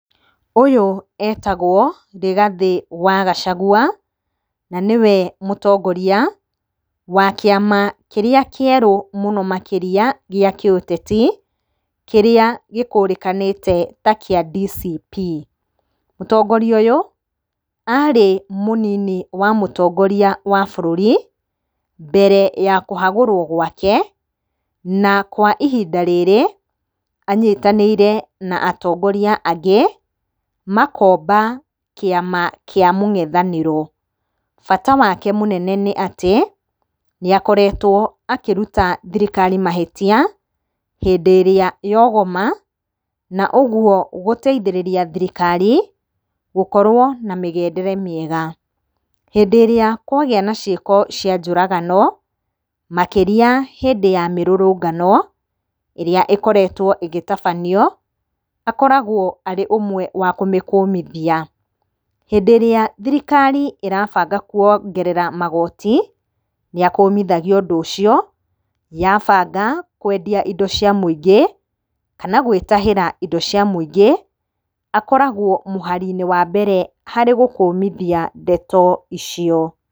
Ũyũ etagwo Rigathi wa Gacagua, na nĩwe mũtongoria wa kĩama kĩrĩa kĩerũ mũno makĩria gĩa kĩũteti, kĩrĩa gĩkũrĩkanĩte takĩa DCP, mũtongoria ũyũ arĩ mũnini wa mũtongoria wa bũrũri, mbere ya kũhagũrwo gwake, na kwa ihinda rĩrĩ anyitanĩire na atongoria angĩ, makomba kĩama kĩa mũngethanĩro, bata wake mũnene nĩ atĩ, nĩakoretwo akĩruta thirikari mahĩtia, hĩndĩ ĩrĩa yogoma, na ũguo gũteithĩrĩria thirikari gũkorwo na mĩgendere mĩega, hĩndĩ ĩrĩa kwagĩa na ciĩko cia njũragano, makĩria hĩndĩ ya mĩrũrũngano, ĩrĩa ikoretwo ĩgĩtabanio, akoragwo arĩ ũmwe wa kũmĩkũmithia, hĩndĩ ĩrĩa thirikari ĩrabanga kwongerera magoti, nĩ akũmithagia ũndũ ũcio, yabanga kwendia indo cia mũingĩ, kana gwĩtahĩra indo cia mũingĩ, akoragwo mũhari-inĩ wa mbere harĩ gũkũmithia ndeto icio.